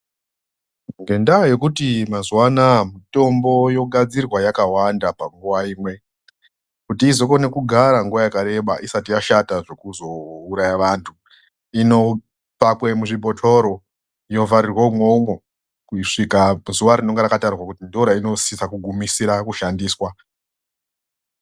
Ngendaa yekuti mazuwa anaya mitombo yogadzirwa yakawanda pamguwa imwe kuti izokone kugara nguva yakareba isati yashata zvekuzouraya vantu, inopakwe muzvibhotoro, yovharirwe imomo, kusvika zuva rinenge rakatarwa kuti ndoyeinosise kugumisira kushandiswa.